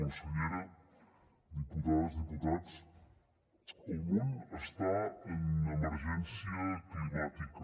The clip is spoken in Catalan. consellera diputades i diputats el món està en emergència climàtica